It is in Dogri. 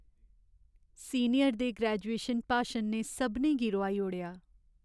सीनियर दे ग्रेजुएशन भाशन ने सभनें गी रोआई ओड़ेआ।